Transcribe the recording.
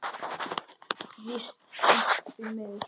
Víst seint, því miður.